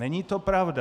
Není to pravda.